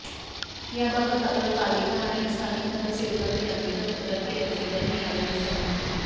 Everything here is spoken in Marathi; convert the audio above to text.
याबाबत आपण पालिका आणि स्थानिक नगरसेवकाकडे अनेकदा तक्रार केल्याचे त्यांनी यावेळी सांगितले